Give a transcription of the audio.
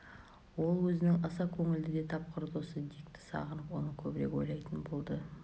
ол өзінің аса көңілді де тапқыр досы дикті сағынып оны көбірек ойлайтын болды